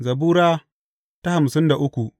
Zabura Sura hamsin da uku